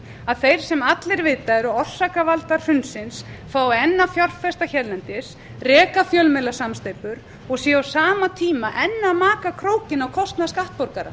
að þeir sem allir vita að eru orsakavaldar hrunsins fái enn að fjárfesta hérlendis reka fjölmiðlasamsteypur og séu á sama tíma enn að maka krókinn á kostnað skattborgara